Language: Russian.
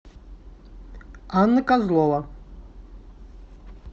анна козлова